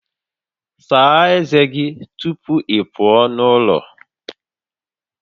Saa ezé gị tupu ị pụọ n'ụlọ